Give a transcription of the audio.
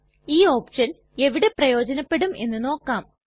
ഈ ഓപ്ഷൻ എവിടെ പ്രയോജനപെടും എന്ന് നോക്കാം